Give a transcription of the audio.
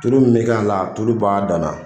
Tulu min bɛ kɛ a la , o tulu b'a dan na.